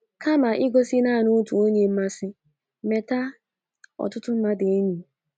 Kama igosi nanị otu onye mmasị, meta otụtụ mmadu enyi